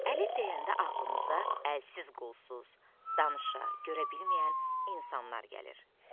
Əlil deyəndə ağlımıza əlsiz, qolsuz, danışa, görə bilməyən insanlar gəlir.